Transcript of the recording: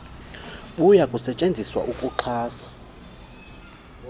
buya kusetyenziswa ukuxhasa